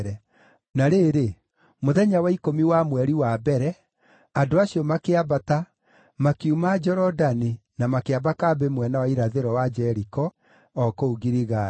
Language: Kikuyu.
Na rĩrĩ, mũthenya wa ikũmi wa mweri wa mbere, andũ acio makĩambata, makiuma Jorodani na makĩamba kambĩ mwena wa irathĩro wa Jeriko, o kũu Giligali.